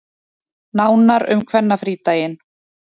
Nánar um kvennafrídaginn